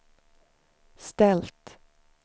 ställt